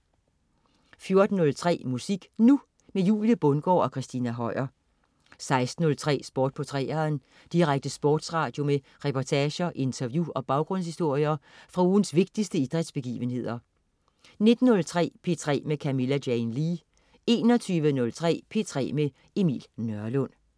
14.03 Musik Nu! Julie Bundgaard og Christina Høier 16.03 Sport på 3'eren. Direkte sportsradio med reportager, interview og baggrundshistorier fra ugens vigtigste idrætsbegivenheder 19.03 P3 med Camilla Jane Lea 21.03 P3 med Emil Nørlund